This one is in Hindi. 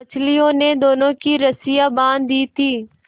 मछलियों ने दोनों की रस्सियाँ बाँध दी थीं